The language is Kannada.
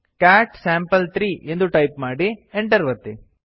ಕ್ಯಾಟ್ ಸ್ಯಾಂಪಲ್3 ಎಂದು ಟೈಪ್ ಮಾಡಿ enter ಒತ್ತಿ